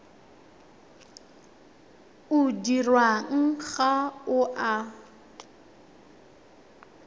o dirwang ga o a